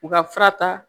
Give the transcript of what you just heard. U ka fura ta